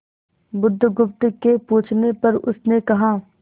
बुधगुप्त के पूछने पर उसने कहा